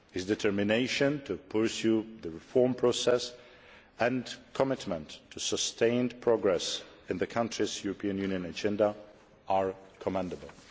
His determination to pursue the reform process and commitment to sustained progress in the country's European Union agenda are commendable.